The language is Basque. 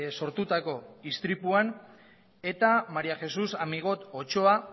sortutako istripuan eta maría jesús amigot otxoa